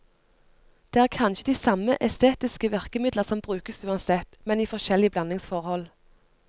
Det er kanskje de samme estetiske virkemidler som brukes uansett, men i forskjellige blandingsforhold.